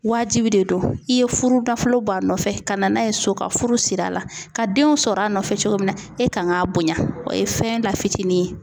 Waajibi de don i ye furu dafolo b'a nɔfɛ ka na n'a ye so ka furu siri a la ka denw sɔrɔ a nɔfɛ cogo min na e kan g'a bonya o ye fɛn la fitinin ye